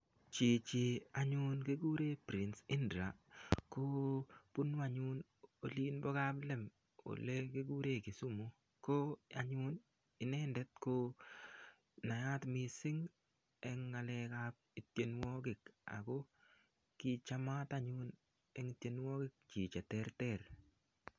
Chichi anyun kikure prince Indah ko bunu anyun olin bo kaplem ole kikure Kisumu ko anyun inendet ko nayat mising' eng' ng'alekab ityenwokik ako kichamat anyun eng' tienwokik chi cheterter